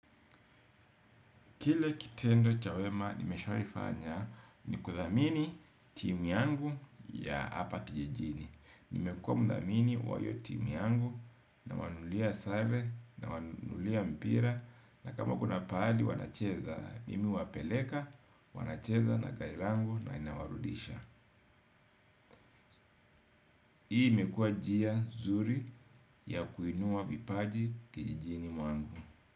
Kile kitendo cha wema nimeshaifanya ni kuthamini timu yangu ya hapa kijijini. Nimekuwa mdhamini wa hiyo timu yangu nawanunulia sare nawanunulia mpira na kama kuna pahali wanacheza mimi huwapeleka, wanacheza na gari langu na inawarudisha. Hii imekua njia zuri ya kuinua vipaji kijijini mwangu.